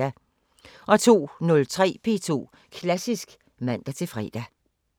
02:03: P2 Klassisk (man-fre)